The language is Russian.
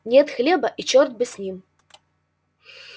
нет хлеба и чёрт бы с ним